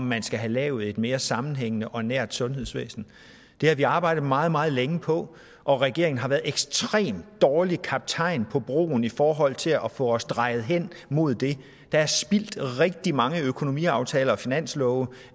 man skal have lavet et mere sammenhængende og nært sundhedsvæsen det har vi arbejdet meget meget længe på og regeringen har været en ekstremt dårlig kaptajn på broen i forhold til at få os drejet hen mod det der er spildt rigtig mange økonomiaftaler og finanslove